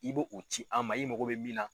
I be o ci a ma, i mago be min na